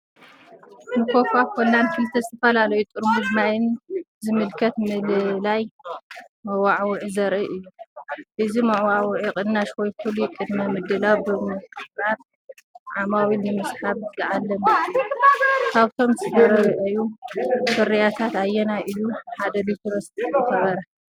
ንኮካ-ኮላን ክልተ ዝተፈላለየ ጥርሙዝ ማይን ዝምልከት ምልላይ መወዓውዒ ዘርኢ እዩ። እዚ መወዓውዒ ቅናሽ ወይ ፍሉይ ቅድመ-ምድላው ብምቕራብ ዓማዊል ንምስሓብ ዝዓለመ እዩ። ካብቶም ዝተርኣዩ ፍርያት ኣየናይ እዩ ንሓደ ሊትሮ ዝኸበረ?